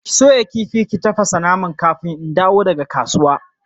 Ki soya kifi ki tafasa naman kafin in dawo daga kasuwa!